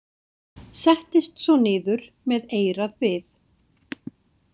Settist svo niður með eyrað við.